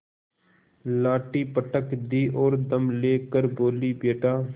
लाठी पटक दी और दम ले कर बोलीबेटा